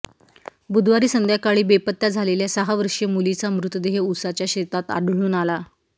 बुधवारी संध्याकाळी बेपत्ता झालेल्या सहा वर्षीय मुलीचा मृतदेह ऊसाच्या शेतात आढळून आला